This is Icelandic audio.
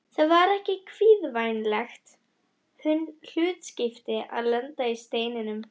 Það var ekki kvíðvænlegt hlutskipti að lenda í Steininum.